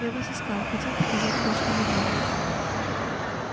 я вас искал хотел показать кое-что забавное